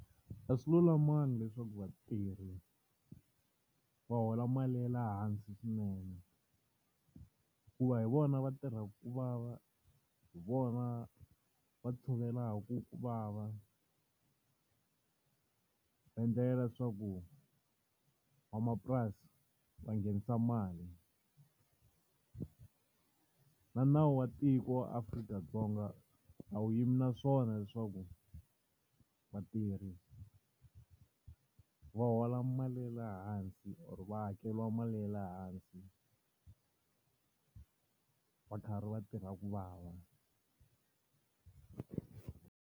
A swi lulamangi leswaku vatirhi va hola mali ya le hansi swinene. Hikuva hi vona va tirhaka ku vava, hi vona va tshovelaka ku vava. Va endlela leswaku, van'wamapurasi va nghenisa mali. Na nawu wa tiko wa Afrika-Dzonga a wu yimi na swona leswaku vatirhi va hola mali ya le hansi or va hakeriwa mali ya le hansi, va karhi va tirha ku vava.